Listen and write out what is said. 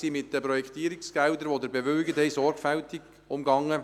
Wir sind mit den Projektierungsgeldern, die Sie bewilligt haben, sorgfältig umgegangen.